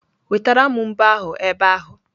Wetara m mbo ahu ebe ahu!